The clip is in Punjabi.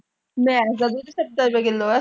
ਮੈਂ ਨਹੀਂ ਜਾਂਦੀ ਉੱਥੇ ਸੱਤਰ ਰੁਪਏ ਕਿੱਲੋ।